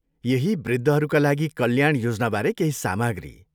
यही वृद्धहरूका लागि कल्याण योजनाबारे केही सामाग्री।